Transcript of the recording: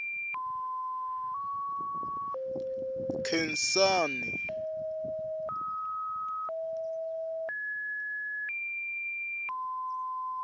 nkhensani